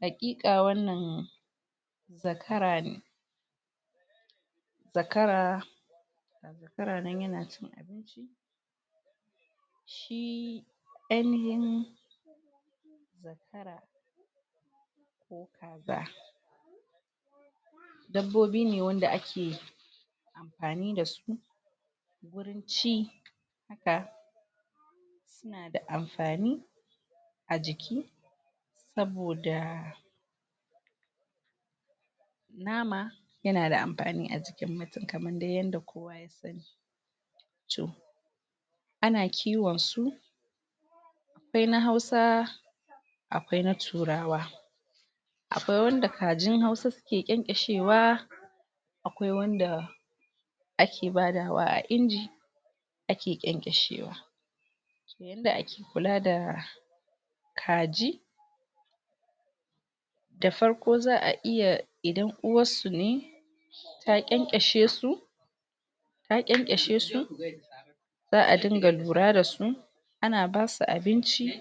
Haƙiƙa wannan zakara ne. Zakara zakara nan ya na ainihin Dabbobi ne wanda ake amfani da su ci da da amfani a jiki saboda nama ya na da mafani a jikin mutum kaman dai yanda Ana kiwon su, akwai na hausa, akwai na turawa. Akwai wanda kajin hausa su ke ƙyan-ƙyashewa, akwai wanda ake badawa a inji ake ƙyan-ƙyashewa. yanda ake kula da kaji; Da farko za'a iya idan uwarsu ne ta ƙyan-ƙyashe su ta ƙyan-ƙynashe su za'a dinga lura da su, ana ba su abinci